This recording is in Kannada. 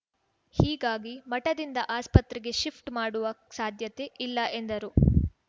ಹೀಗಾಗಿ ಮಠದಿಂದ ಆಸ್ಪತ್ರೆಗೆ ಶಿಫ್ಟ್‌ ಮಾಡುವ ಸಾಧ್ಯತೆ ಇಲ್ಲ ಎಂದರು